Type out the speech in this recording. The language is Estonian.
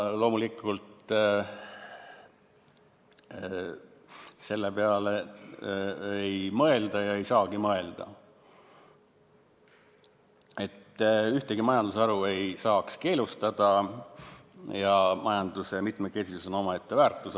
Loomulikult, selle peale ei mõelda ega saagi mõelda, ühtegi majandusharu ei peaks saama keelustada ja majanduse mitmekesisus on omaette väärtus.